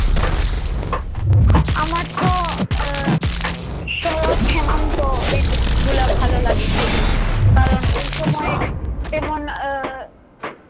আমারতো আহ শরত হেমন্ত ঋতুগুলা ভালো লাগে খুবই। কারণ ওইসময়ে যেমন আহ